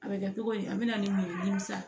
A bɛ kɛ togo di an bɛna ni min ye dimi sa